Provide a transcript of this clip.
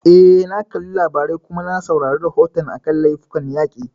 Eh, na kalli labarai, kuma na saurari rahoton a kan laifukan yaƙi